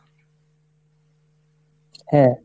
হ্যাঁ।